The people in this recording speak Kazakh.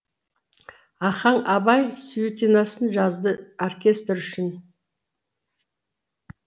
ахаң абай сюитинасын жазды оркестр үшін